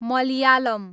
Malayalam